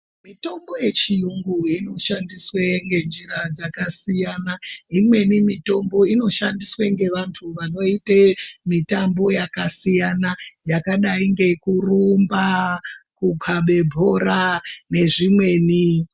Mitombo yechiyungu inoshandiswa ngenjira dzakasiyana, ngeimweni mitombo inoshandiswe ngevantu vanoite mitambo yakasiyana yakadai ngekurumba, kukabe bhora nezvimweni.